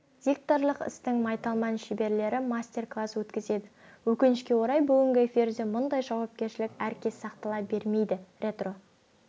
дикторлық істің майталман шеберлері мастер-класс өткізеді өкінішке орай бүгінгі эфирде мұндай жауапкершілік әркез сақтала бермейді ретро